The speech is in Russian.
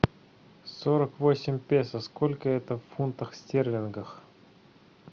сорок восемь песо сколько это в фунтах стерлингах